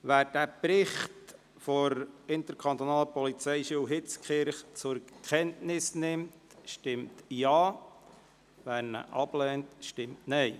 Wer den Bericht der IPH zur Kenntnis nimmt, stimmt Ja, wer dies ablehnt, stimmt Nein.